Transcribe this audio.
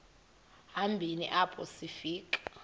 hambeni apho sifika